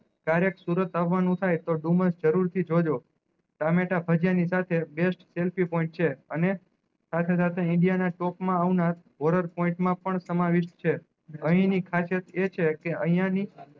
ક્યારે સુરત આવાનું થાય તો જરૂર થી જોજો ટામેટા ભજીયા ની સાથે best selfie point છે અને સાથે સાથે ઇન્ડિયા ના stock માં point માં પણ સમાવેશ છે અહી ની ખાસિયત એ છે કે અયીયા ની